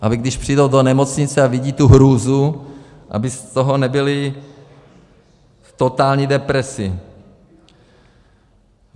Aby když přijdou do nemocnice a vidí tu hrůzu, aby z toho nebyli v totální depresi.